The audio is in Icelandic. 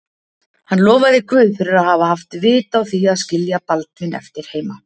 Hann lofaði Guð fyrir að hafa haft vit á því að skilja Baldvin eftir heima.